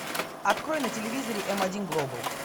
открой на телевизоре м один глобал